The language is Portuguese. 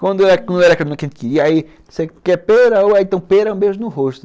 Quando não era a menina que a gente queria, aí você quer pera, uva, então pera, um beijo no rosto.